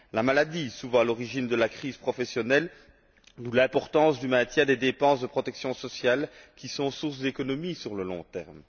la maladie, souvent à l'origine de la crise professionnelle, d'où l'importance du maintien des dépenses de protection sociale, qui sont sources d'économies sur le long terme